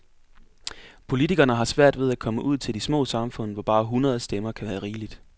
Politikerne har svært ved at komme ud til de små samfund, hvor bare hundrede stemmer kan være rigeligt.